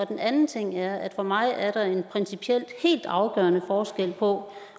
den anden ting er at der for mig er en principielt helt afgørende forskel på